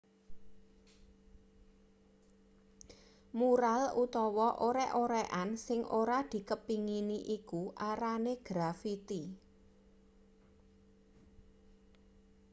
mural utawa orek-orekan sing ora dikepengini iku arane grafiti